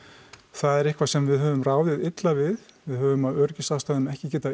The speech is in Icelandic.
það er eitthvað sem við höfum ráðið illa við við höfum af öryggisástæðum ekki getað